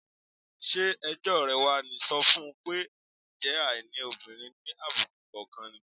Ṣé ẹjọ́ rẹ̀ wá ní? Sọ fún un pé, "ǹjẹ́ àìní òbìnrin ni àbùkù kò kan ni?"